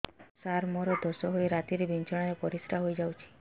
ସାର ମୋର ଦୋଷ ହୋଇ ରାତିରେ ବିଛଣାରେ ପରିସ୍ରା ହୋଇ ଯାଉଛି